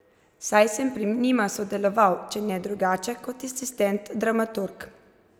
Saj sem pri njima sodeloval, če ne drugače kot asistent dramaturg.